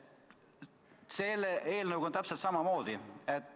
Selle eelnõuga on täpselt samamoodi.